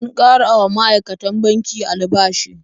An ƙara wa ma'aikatan banki albashi.